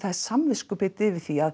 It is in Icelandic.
er samviskubitið yfir því að